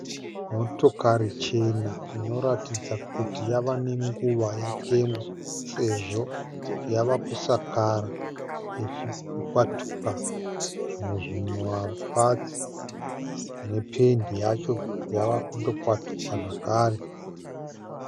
Motokari chena inoratidza kuti yava nenguva yatengwa sezvo yava kusakara ichikwatuka zvimwe zvima patsi nependi yacho yava kundo kwatuka zvakare.